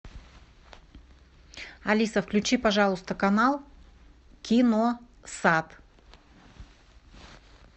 алиса включи пожалуйста канал киносат